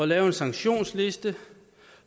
lave en sanktionsliste